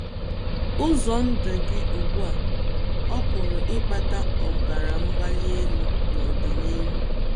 Ụzọ ndụ gị ugbu a ọ̀ pụrụ ịkpata ọbara mgbali elu n’ọdịnihu?